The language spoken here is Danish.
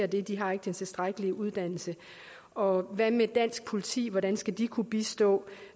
det de har ikke den tilstrækkelige uddannelse og hvad med dansk politi hvordan skal de kunne bistå